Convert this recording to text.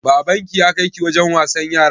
Baban ki ya kai ki wajen wasan yara?